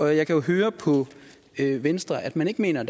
jeg kan jo høre på venstre at man ikke mener at